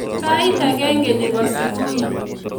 Sait agenge nebo subui.